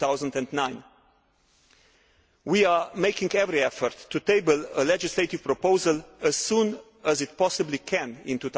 2009. We are making every effort to table a legislative proposal as soon as we possibly can in